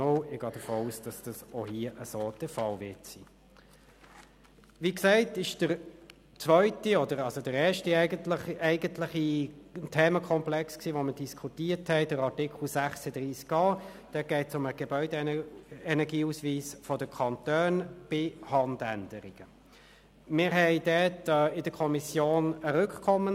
Anschliessend würde ich gerne direkt in die Detailberatung einsteigen und die Debatte am Schluss mit dem Antrag SVP/Guggisberg wieder für Voten zu einer Gesamtwürdigung des Gesetzes öffnen.